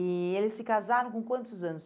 E eles se casaram com quantos anos?